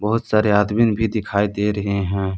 बहोत सारे आदमीन भी दिखाई दे रहे हैं।